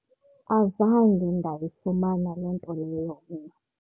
Azange ndayifumana loo nto leyo mna.